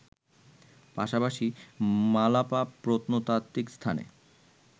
পাশাপাশি মালাপা প্রত্নতাত্ত্বিক স্থানে